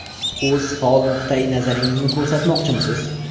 O‘z faol nuqtai nazaringizni ko‘rsatmoqchimisiz?